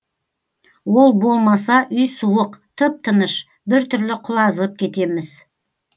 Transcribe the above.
ол болмаса үй суық тып тыныш біртүрлі құлазып кетеміз